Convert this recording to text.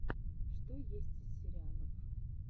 что есть из сериалов